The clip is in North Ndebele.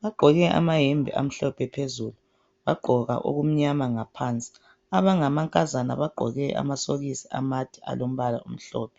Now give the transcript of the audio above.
bagqoke amayembe amhlophe phezulu bagqoka okumnyama ngaphansi abangamankazana bagqoke amasokisi amade alombala omhlophe